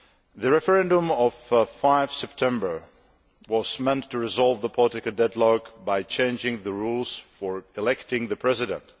The referendum of 5 September was meant to resolve the political deadlock by changing the rules for electing the President.